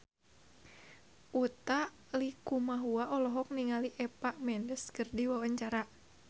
Utha Likumahua olohok ningali Eva Mendes keur diwawancara